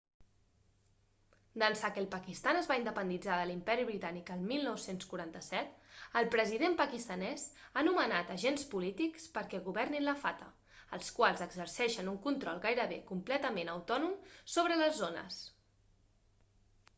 d'ençà que el pakistan es va independitzar de l'imperi britànic el 1947 el president pakistanès ha nomenat agents polítics perquè governin la fata els quals exerceixen un control gairebé completament autònom sobre les zones